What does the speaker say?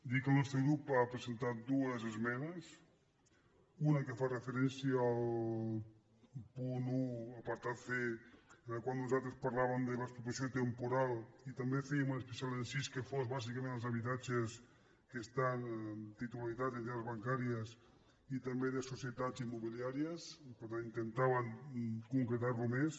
dir que el nostre grup ha presentat dues esmenes una que fa referència al punt un apartat c en el qual nosal·tres parlàvem de l’expropiació temporal i també fèiem un especial incís que fos bàsicament als habitatges que estan amb titularitat d’entitats bancàries i també de societats immobiliàries per tant intentàvem concre·tar·ho més